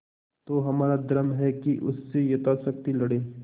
तो हमारा धर्म है कि उससे यथाशक्ति लड़ें